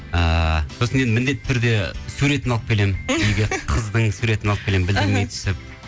ыыы сосын енді міндетті түрде суретін алып келемін қыздың суретін алып келемін білдірмей түсіп